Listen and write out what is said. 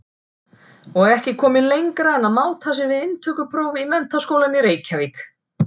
Og ekki kominn lengra en að máta sig við inntökupróf í Menntaskólann í Reykjavík!